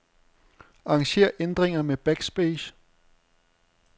Arranger ændringer med backspace.